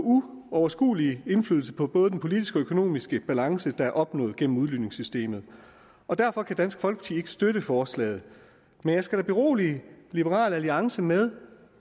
uoverskuelig indflydelse på både den politiske og økonomiske balance der er opnået gennem udligningssystemet derfor kan dansk folkeparti ikke støtte forslaget men jeg skal da berolige liberal alliance med